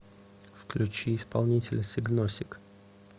включи исполнителя сигносик